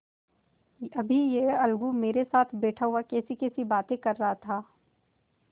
अभी यह अलगू मेरे साथ बैठा हुआ कैसीकैसी बातें कर रहा था